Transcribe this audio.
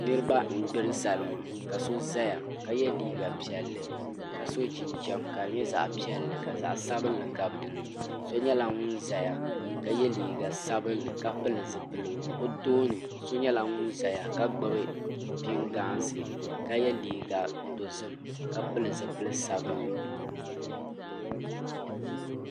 niraba n gbiri salima ka so ʒɛya ka yɛ liiga piɛlli ka so jinjɛm ka di nyɛ zaɣ piɛlli ka zaɣ sabinli gabi dinni so nyɛla ŋun ʒɛya ka yɛ liiga sabinli ka pili zipiligu o tooni so nyɛla ŋun ʒɛya ka gbubi pingaasi ka yɛ liiga dozim ka pili zipili sabinli